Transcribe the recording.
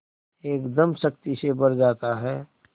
एकदम शक्ति से भर जाता है